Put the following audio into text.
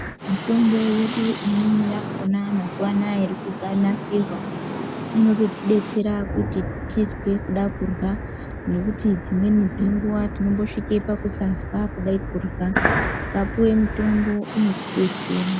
Mitombo yedu imweni yakhona mazuwa anaya, iri kuganasirwa. Inototidetsera kuti tizwe kuda kurya, nekuti dzimweni dzenguwa tinombosvike pakusade kurya. Tikapuwe mitombo inotidetsera.